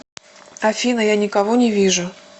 афина я никого не вижу